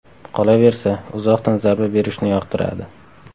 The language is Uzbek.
Qolaversa, uzoqdan zarba berishni yoqtiradi.